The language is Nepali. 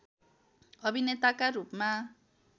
अभिनेताका रूपमा